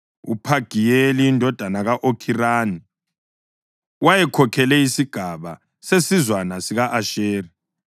UPhagiyeli indodana ka-Okhirani wayekhokhele isigaba sesizwana sika-Asheri,